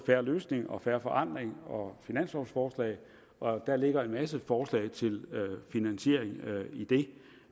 fair løsning og fair forandring og finanslovforslag og der ligger en masse forslag til finansiering i det